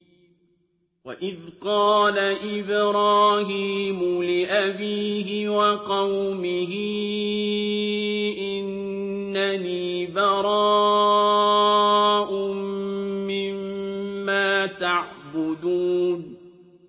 وَإِذْ قَالَ إِبْرَاهِيمُ لِأَبِيهِ وَقَوْمِهِ إِنَّنِي بَرَاءٌ مِّمَّا تَعْبُدُونَ